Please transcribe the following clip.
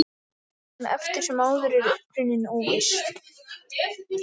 En eftir sem áður er uppruninn óviss.